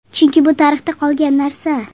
Chunki bu tarixda qoladigan narsa.